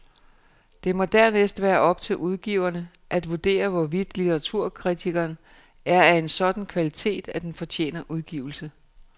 Det må dernæst være op til udgiverne at vurdere, hvorvidt litteraturkritikken er af en sådan kvalitet, at den fortjener udgivelse.